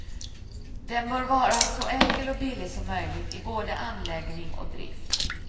Den bör vara så enkel och billig som möjligt i både anläggning och drift.